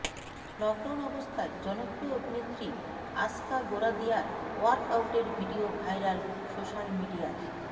lockdown অবস্থায় জনপ্রিয় অভিনেত্রী আস্কা গোরাদিয়ার ওয়ার্কআউটের ভিডিও ভাইরাল সোশ্যাল মিডিয়ায়